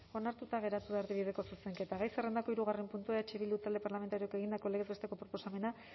onartuta gelditu da erdibideko zuzenketa gai zerrendako hirugarren puntua eh bildu talde parlamentarioak egindako legez besteko proposamena